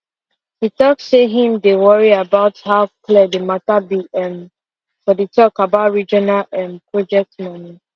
he talk say him dey worry about how clear the matter be um for the talk about regional um project money